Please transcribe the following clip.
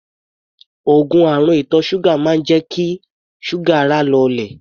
Òogùn àrùn ìtọ̀ ṣúgà máa ń jẹ́ kí ṣúgà ara lọlẹ̀.